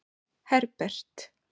Herbert